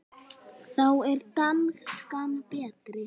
Þá er danskan betri.